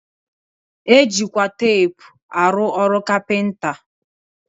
E jikwa teepu arụ ọrụ kapịnta